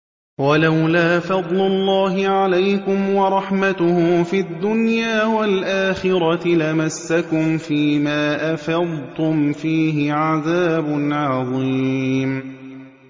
وَلَوْلَا فَضْلُ اللَّهِ عَلَيْكُمْ وَرَحْمَتُهُ فِي الدُّنْيَا وَالْآخِرَةِ لَمَسَّكُمْ فِي مَا أَفَضْتُمْ فِيهِ عَذَابٌ عَظِيمٌ